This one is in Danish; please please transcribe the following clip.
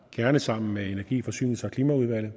gerne sammen med energi forsynings og klimaudvalget